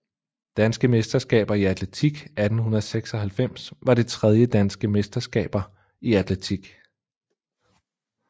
Danske mesterskaber i atletik 1896 var det tredje Danske mesterskaber i atletik